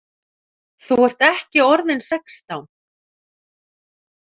Þú ert ekki orðinn sextán!